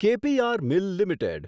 કે P R mill limited